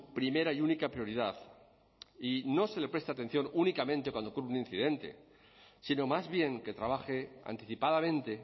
primera y única prioridad y no se le preste atención únicamente cuando ocurre un incidente sino más bien que trabaje anticipadamente